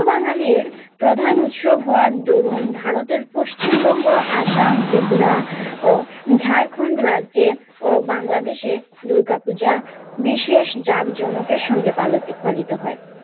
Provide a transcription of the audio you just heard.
হিন্দু বাঙালীর প্রধান উৎসব হওয়ার দরুন ভারতের পশ্চিমবঙ্গ আসাম ত্রিপুরা ও ঝাড়খণ্ড রাজ্য ও বাংলাদেশে দুর্গা পূজা বিশেষ জাঁকজমকের সঙ্গে পাল পালিত হয়।